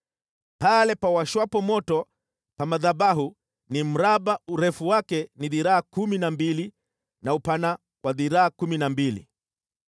Pale pawashwapo moto pa madhabahu ni mraba, urefu wake ni dhiraa kumi na mbili na upana wa dhiraa kumi na mbili.